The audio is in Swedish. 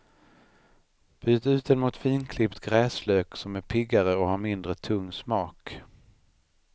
Byt ut den mot finklippt gräslök som är piggare och har mindre tung smak.